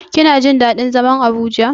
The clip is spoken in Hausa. Kina jin daɗin zaman Abuja.